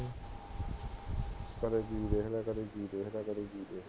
ਕਦੇ ਕਿ ਦੇਖ ਲਿਆ, ਕਦੇ ਕਿ ਦੇਖ ਲਿਆ, ਕਦੇ ਕਿ ਦੇਖ ਲਿਆ